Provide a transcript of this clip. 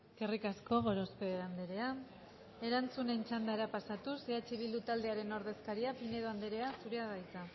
eskerrik asko gorospe andrea erantzunen txandara pasatuz eh bildu taldearen ordezkaria pinedo andrea zurea da hitza